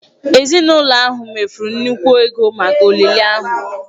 Ezinụlọ ahụ mefuru nnukwu ego maka olili ahụ.